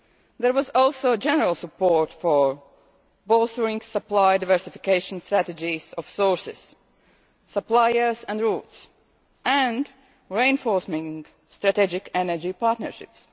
There was also general support for bolstering supply diversification strategies of sources, suppliers and routes and reinforcing strategic energy partnerships.